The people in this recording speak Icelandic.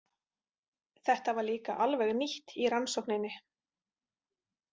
Þetta var líka alveg nýtt í rannsókninni.